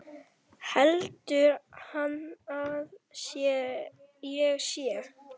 Heldur hann að ég sé.